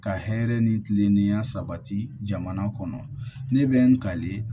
Ka hɛrɛ ni kile niyan sabati jamana kɔnɔ ne bɛ ngale